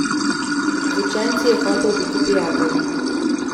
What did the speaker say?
Z učenci je hotel biti prijatelj.